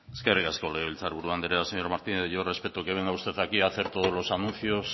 eskerrik asko legebiltzar buru andrea señor martínez yo respeto que venga usted a aquí a hacer todos los anuncios